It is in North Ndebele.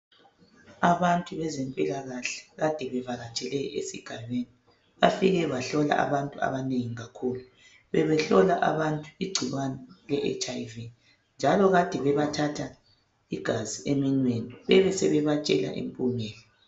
Abantu bezempilakahle kade bevakatshele esigabeni bafike bahlola abantu abanengi kakhulu. Bebehlola abantu igcikwane le HIV. Njalo ade bebathatha igazi eminweni, bebesebebatshela impumela.